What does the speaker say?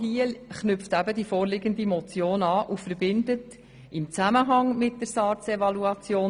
Daran knüpft die vorliegende Motion an und verbindet dieses Thema mit der laufenden SARZEvaluation.